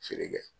Feere kɛ